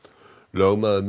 lögmaður